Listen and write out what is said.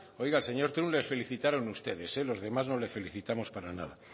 oiga al señor trump les felicitaron ustedes los demás no le felicitamos para nada